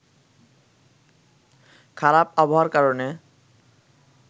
খারাপ আবহাওয়ার কারণে